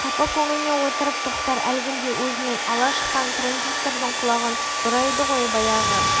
қапа көңілмен отырып тоқтар әлгінде өзімен ала шыққан транзистордың құлағын бұрайды ғой баяғы